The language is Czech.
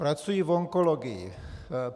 Pracuji v onkologii.